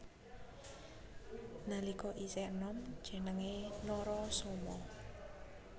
Nalika isih enom jenengé Narasoma